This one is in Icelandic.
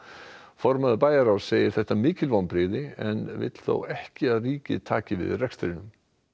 formaður bæjarráðs segir þetta mikil vonbrigði en vill þó ekki að ríkið taki við rekstrinum